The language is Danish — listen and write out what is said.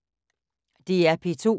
DR P2